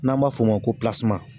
N'an b'a f'o ma ko